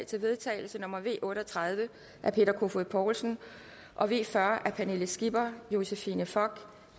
til vedtagelse nummer v otte og tredive af peter kofod poulsen og v fyrre af pernille skipper josephine fock